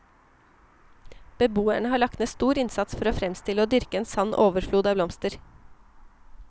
Beboerne har lagt ned stor innsats for å fremstille og dyrke en sann overflod av blomster.